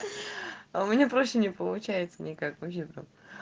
у меня проще не получается никак вообще прям